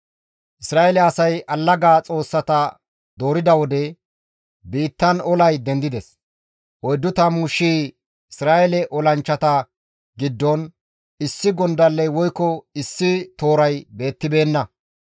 Isra7eele asay allaga xoossata doorida wode, biittan olay dendides; oyddu tammu shii Isra7eele olanchchata giddon issi gondalley woykko issi tooray beettibeenna.